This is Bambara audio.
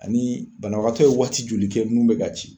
Ani banabagatɔ ye waati joli kɛ a nun be ka ci